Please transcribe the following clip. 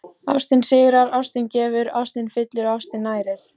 Ástin sigrar, ástin gefur, ástin fyllir og ástin nærir.